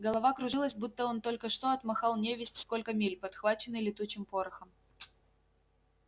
голова кружилась будто он только что отмахал невесть сколько миль подхваченный летучим порохом